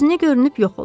Gözünə görünüb yox olur.